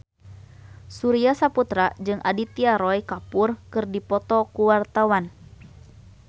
Surya Saputra jeung Aditya Roy Kapoor keur dipoto ku wartawan